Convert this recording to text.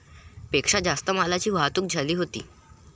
पेक्षा जास्त मालाची वाहतूक झाली होती.